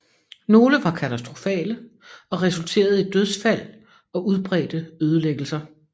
Nogle var katastrofale og resulterede i dødsfald og udbredte ødelæggelser